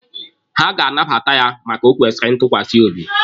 Ha ga-anabata ya maka o kwesịrị ntukwasi obi.